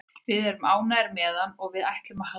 Við erum ánægðir með hann og við ætlum að halda honum.